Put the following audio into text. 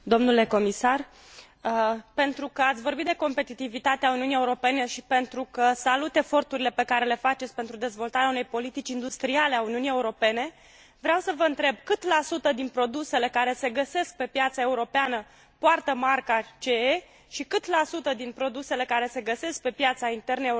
Pentru că ați vorbit de competitivitatea Uniunii Europene și pentru că salut eforturile pe care le faceți pentru dezvoltarea unei politici industriale a Uniunii Europene, vreau să vă întreb cât la sută din produsele care se găsesc pe piața europeană poartă marca CE și cât la sută din produsele care se găsesc pe piața internă europeană sunt produse în China?